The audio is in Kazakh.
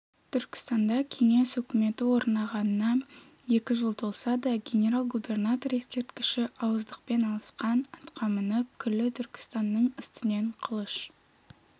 түркістанда кеңес өкіметі орнағанына екі жыл толса да генерал-губернатор ескерткіші ауыздықпен алысқан атқа мініп күллі түркістанның үстінен қылыш